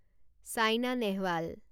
Saina Nehwal